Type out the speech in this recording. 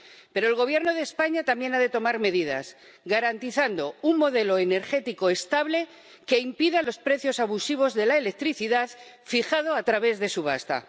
Pero el Gobierno de España también ha de tomar medidas, garantizando un modelo energético estable que impida los precios abusivos de la electricidad, fijados a través de subasta.